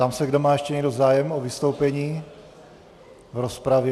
Ptám se, zda má ještě někdo zájem o vystoupení v rozpravě.